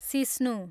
सिस्नु